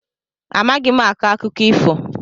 Amaghị m akọ akụkọ ifo.